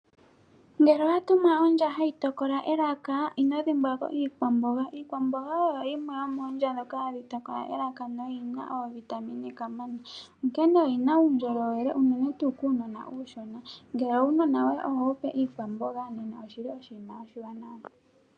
Ngele owa tumwa ondja hayi tokala elaka, ino dhimbwako iikwamboga. Iikwamboga oyo yimwe yoomondja ndhika hadhi tokala elaka no yina oovitamine kamana. Oyi na uundjolowele unene tuu kuunona, ngele uunona wo ye oho wupe iikwamboga nena oshinima oshiwanawa